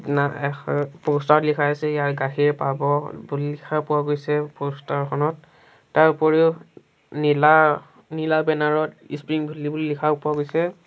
না এখ প'ষ্টাৰ ত লিখা হৈছে ইয়াত গাখীৰ পাব বুলি লিখা পোৱা গৈছে প'ষ্টাৰখনত তাৰ উপৰিও নীলা নীলা বেনাৰ ত স্প্ৰিং ভেলী বুলি লিখাও পোৱা গৈছে।